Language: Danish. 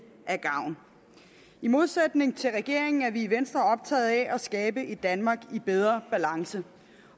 af gavn i modsætning til regeringen er vi i venstre optagede af at skabe et danmark i bedre balance